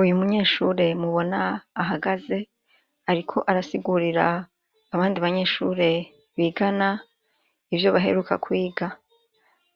Uyu munyeshure mubona ahagaze, ariko arasigurira abandi banyeshure bigana ivyo baheruka kwiga.